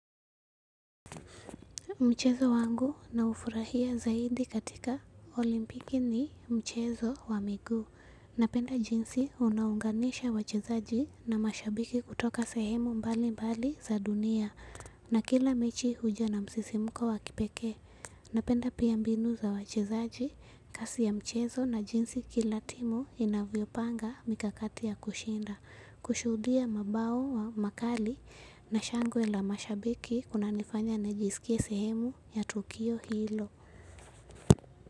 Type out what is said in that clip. Mchezo wangu naufurahia zaidi katika olimpiki ni mchezo wa miguu. Napenda jinsi unaunganisha wachezaji na mashabiki kutoka sehemu mbali mbali za dunia na kila mechi huja na msisimuko wa kipekee. Napenda pia mbinu za wachezaji, kasi ya mchezo na jinsi kila timu inavyopanga mikakati ya kushinda. Kushuhudia mabao wa makali na shangwe la mashabiki kuna nifanya nijisikie sehemu ya tukio. Hilo.